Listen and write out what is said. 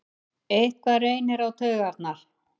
Eitthvað reynir á taugarnar